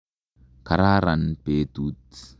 Kararan petut.